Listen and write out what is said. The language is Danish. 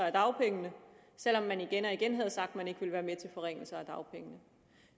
af dagpengene selv om man igen og igen havde sagt at man ikke ville være med til forringelser af dagpengene